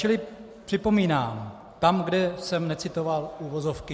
Čili připomínám, tam, kde jsem necitoval uvozovky: